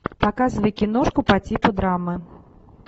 показывай киношку по типу драмы